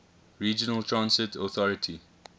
regional transit authority